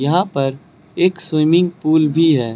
यहां पर एक स्विमिंग पूल भी है।